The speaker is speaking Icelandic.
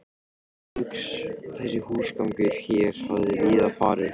Þessi húsgangur hér hafði víða farið